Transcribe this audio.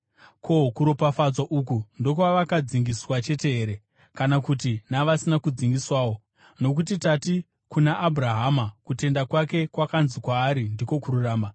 Ko, kuropafadzwa uku ndokwavakadzingiswa chete here? Kana kuti navasina kudzingiswawo? Nokuti tati kuna Abhurahama kutenda kwake kwakanzi kwaari ndiko kururama.